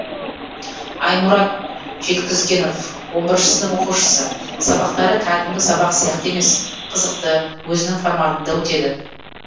аймұрат жеткізгенов он бірінші сынып оқушысы сабақтары кәдімгі сабақ сияқты емес қызықты өзінің форматында өтеді